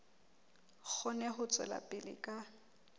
kgone ho tswela pele ka